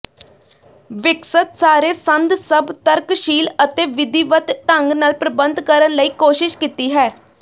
ਵਿਕਸਤ ਸਾਰੇ ਸੰਦ ਸਭ ਤਰਕਸ਼ੀਲ ਅਤੇ ਵਿਧੀਵਤ ਢੰਗ ਨਾਲ ਪ੍ਰਬੰਧ ਕਰਨ ਲਈ ਕੋਸ਼ਿਸ਼ ਕੀਤੀ ਹੈ